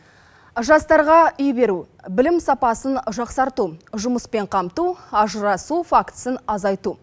жастарға үй беру білім сапасын жақсарту жұмыспен қамту ажырасу фактісін азайту